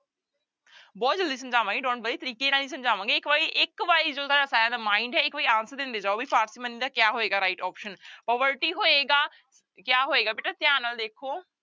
ਬਹੁਤ ਜ਼ਲਦੀ ਸਮਝਾਵਾਂਗੇ don't worry ਤਰੀਕੇ ਨਾਲ ਹੀ ਸਮਝਾਵਾਂਗੇ ਇੱਕ ਵਾਰੀ ਇੱਕ mind ਹੈ ਇੱਕ ਵਾਰੀ answer ਦਿੰਦੇ ਜਾਓ ਵੀ parsimony ਦਾ ਕਿਆ ਹੋਏਗਾ right option poverty ਹੋਏਗਾ ਕਿਆ ਹੋਏਗਾ ਬੇਟਾ ਧਿਆਨ ਨਾਲ ਦੇਖੋ